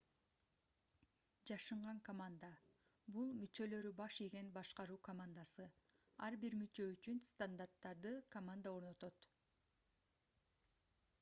жашынган команда - бул мүчөлөрү баш ийген башкаруу командасы ар бир мүчө үчүн стандарттарды команда орнотот